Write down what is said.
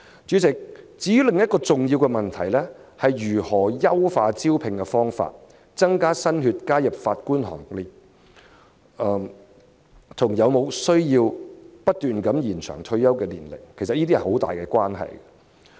主席，另一個重要問題，是如何優化招聘方法，增加新血加入法官行列，這與有否需要不斷延展法官的退休年齡有很大關係。